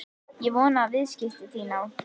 Ég vona að viðskipti þín á